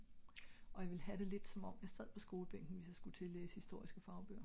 og jeg ville ha det lidt som om jeg sad på skolebænken hvis jeg sku til at læse historiske fagbøger